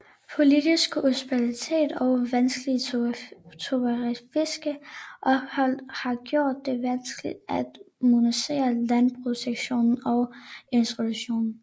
Politisk ustabilitet og vanskelige topografiske forhold har gjort det vanskeligt at modernisere landbrugssektoren og industrien